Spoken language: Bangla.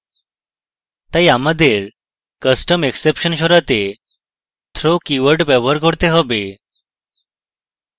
তাই আমাদের custom exception সরাতে throw keyword ব্যবহার করতে হবে